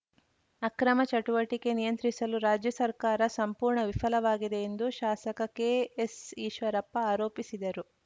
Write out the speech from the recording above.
ಅಕ್ರಮ ಚಟುವಟಿಕೆ ನಿಯಂತ್ರಿಸಲು ರಾಜ್ಯ ಸರ್ಕಾರ ಸಂಪೂರ್ಣ ವಿಫಲವಾಗಿದೆ ಎಂದು ಶಾಸಕ ಕೆ ಎಸ್‌ ಈಶ್ವರಪ್ಪ ಆರೋಪಿಸಿದರು